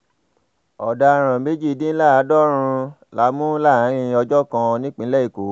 ọ̀daràn méjìdínláàádọ́rùn la mú láàrin ọjọ́ kan nípínlẹ̀ èkó